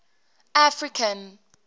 african